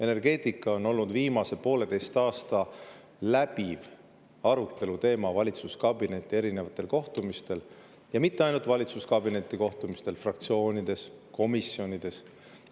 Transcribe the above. Energeetika on olnud viimase pooleteise aasta läbiv aruteluteema valitsuskabineti erinevatel kohtumistel, ja mitte ainult valitsuskabineti kohtumistel, vaid ka fraktsioonides, komisjonides.